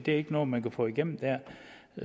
er ikke noget man kan få igennem